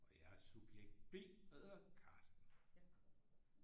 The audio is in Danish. Og jeg er subjekt B og hedder Carsten